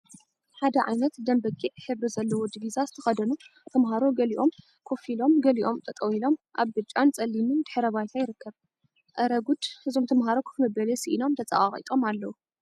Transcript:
ሓደ ዓይነት ደም በጊዕ ሕብሪ ዘለዎ ዲቪዛ ዝተከደኑ ተምሃሮ ገሊኦም ኮፍ ኣኢሎም ገሊኦም ጠጠው ኢሎም ኣብ ብጫን ፀሊምን ድሕረ ባይታ ይርከ። ኣረ ጉድ! እዞም ተምሃሮ ኮፍ መበሊ ሳኢኖም ተፀቃቂጦም ኣለዉ።